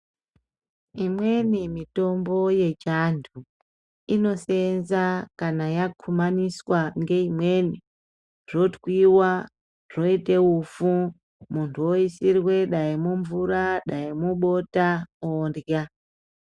Imweni mitombo yechando inoseenza kana yakumaniswa ngeimweni, zvotwiwa, zvoite ufu muntu oisirwe dai mumvura dai mubota ondya.